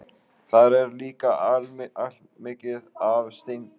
Þar er líka allmikið af steingervingum.